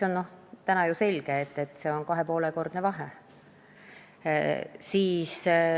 Täna on ju selge, et tegu on 2,5-kordse vahega.